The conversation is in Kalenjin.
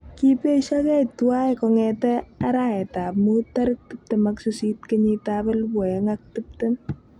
" kipeshokei twai kongete araet ap mut tarik 28 kenyit ap 2020."